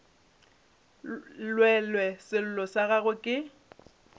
llelwe sello sa gagwe ke